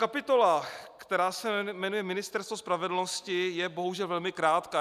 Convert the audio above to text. Kapitola, která se jmenuje Ministerstvo spravedlnosti, je bohužel velmi krátká.